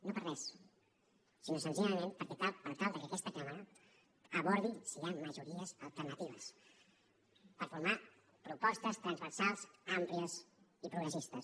no per res sinó senzillament per tal que aquesta cambra abordi si hi ha majories alternatives per formar propostes transversals àmplies i progressistes